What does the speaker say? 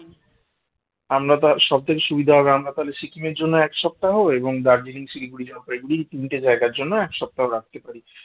আমরা তো সবকিছু সুবিধা হবে আমরা তাহলে সিকিমের জন্য এক সপ্তাহ এবং দার্জিলিং শিলিগুড়ি জলপাইগুড়ি তিনটি জায়গার জন্য এক সপ্তাহ রাখতে পারি